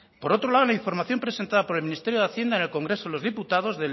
por otro lado la información presentada por el ministerio de hacienda en el congreso de los diputados